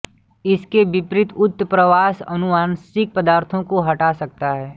इसके विपरीत उत्प्रवास आनुवांशिक पदार्थ को हटा सकता है